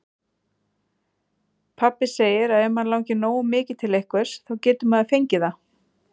Pabbi segir að ef mann langi nógu mikið til einhvers, þá geti maður fengið það.